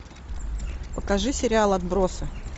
покажи сериал отбросы